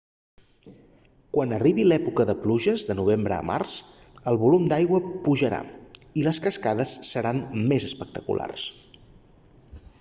quan arribi l'època de pluges de novembre a març el volum d'aigua pujarà i les cascades seran més espectaculars